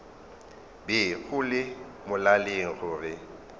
be go le molaleng gore